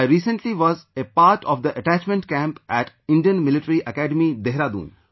I recently was a part of the attachment camp at Indian Military Academy, Dehradun